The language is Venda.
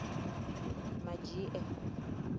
madzhie